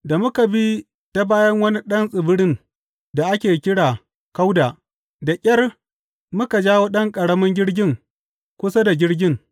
Da muka bi ta bayan wani ɗan tsibirin da ake kira Kauda, da ƙyar muka jawo ɗan ƙaramin jirgin kusa da jirgin.